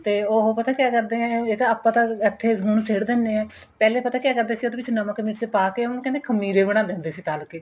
ਤੇ ਉਹ ਪਤਾ ਕਿਆਂ ਕਰਦੇ ਏ ਆਪਾਂ ਤਾਂ ਹੁਣ ਇਥੇ ਸੁੱਟ ਦਿੰਨੇ ਏ ਪਹਿਲੇ ਪਤਾ ਕਿਹਾ ਕਰਦੇ ਸੀ ਉਹਦੇ ਵਿੱਚ ਨਮਕ ਨਹੀਂ ਸੀ ਪਾਕੇ ਉਹਨੂੰ ਕਹਿੰਦੇ ਖਮੀਰੇ ਬਣਾਦੇ ਹੁੰਦੇ ਸੀ ਤਲ ਕੇ